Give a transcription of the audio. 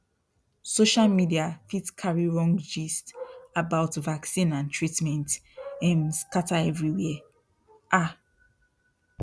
social media fit carry wrong gist about vaccine and treatment um scatter everywhere um